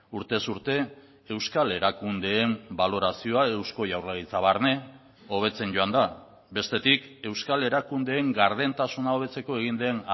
urtez urte euskal erakundeen balorazioa eusko jaurlaritza barne hobetzen joan da bestetik euskal erakundeen gardentasuna hobetzeko egin den